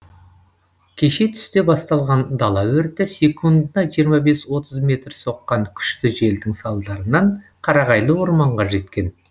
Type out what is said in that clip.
кеше түсте басталған дала өрті секундына жиырма бес отыз метр соққан күшті желдің салдарынан қарағайлы орманға жеткен